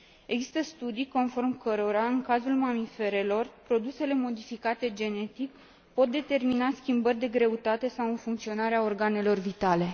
Există studii conform cărora, în cazul mamiferelor, produsele modificate genetic pot determina schimbări de greutate sau în funcționarea organelor vitale.